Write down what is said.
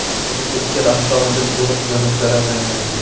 Natijada ikkala avtomobil to‘liq yonib zararlangan.